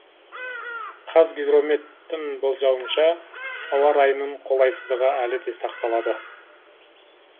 қазгидромет тің болжауынша ауа райының қолайсыздығы әлі де сақталады